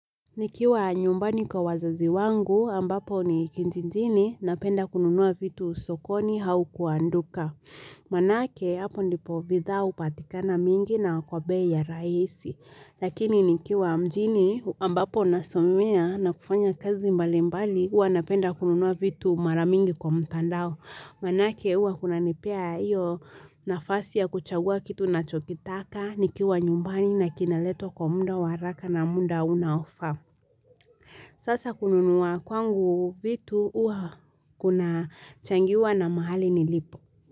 Nikiwa nyumbani kwa wazazi wangu ambapo ni kijijini napenda kununua vitu sokoni au kwa duka. Maana ake hapo ndipo bitha hupatikana mingi na kwa bei ya rahisi. Lakini nikiwa mjini ambapo nasomea na kufanya kazi mbali mbali huwa napenda kununua vitu mara mingi kwa mtandao. Maana ake huwa kunanipea hiyo nafasi ya kuchagua kitu nachokitaka nikiwa nyumbani na kinaletwa kwa muda wa haraka na muda unaofaa. Sasa kununua kwangu vitu huwa kuna changiwa na mahali nilipo.